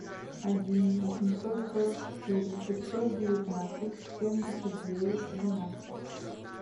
один восемьсот сорок четыре пятьсот девятнадцать семьдесят девять двенадцать